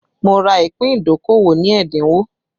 Mo ra ìpín ìdókòwò ní ẹ́dínwó